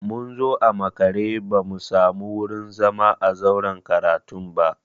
Mun zo a makare ba mu samu wurin zama a zauren karatun ba.